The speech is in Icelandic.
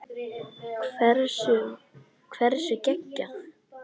Hversu geggjað?